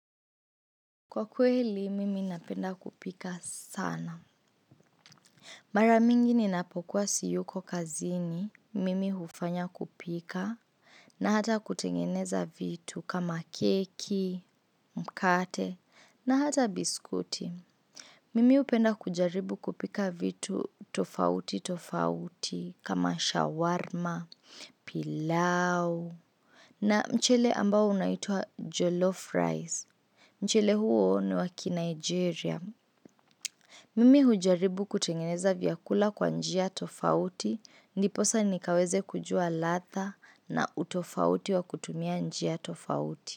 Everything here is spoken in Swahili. Kwa kweli, mimi napenda kupika sana. Mara mingi ninapokuwa siyuko kazini, mimi hufanya kupika, na hata kutengeneza vitu kama keki, mkate, na hata biskuti. Mimi upenda kujaribu kupika vitu tofauti tofauti kama shawarma, pilau, na mchele ambao unaitwa jolof rice. Mchele huo ni wa ki Nigeria. Mimi hujaribu kutengeneza vyakula kwa njia tofauti. Ndiposa nikaweze kujua latha na utofauti wa kutumia njia tofauti.